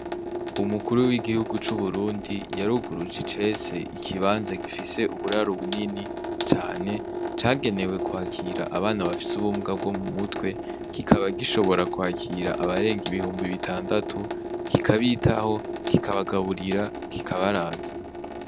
Umukuru w'igihugu cu Burundi yaruguruje icese ikibanza gifise uburaro bunini cane cagenewe kwakira abana bafise ubumuga bwo mu mutwe kikaba gishobora kwakira abarenga ibihumbi bitandatu kikabitaho kika bagaburira kika baraza.